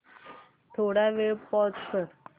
थोडा वेळ पॉझ कर